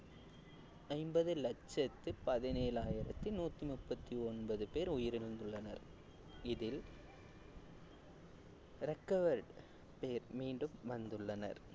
ஐம்பது லட்சத்தி பதினேழாயிரத்தி நூத்தி முப்பத்தி ஒன்பது பேர் உயிரிழந்துள்ளனர் இதில் recovered பேர் மீண்டும் வந்துள்ளனர்